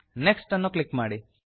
next ಅನ್ನು click ಮಾಡಿ